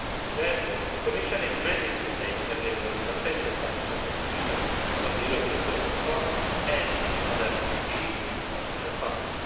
Therefore the Commission is ready to make available substantial financial contributions from the European Social Fund and the other EU Structural Funds.